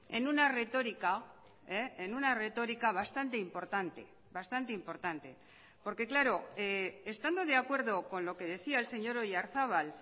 en una retórica en una retórica bastante importante bastante importante porque claro estando de acuerdo con lo que decía el señor oyarzabal